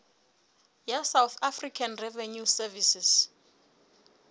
ya south african revenue service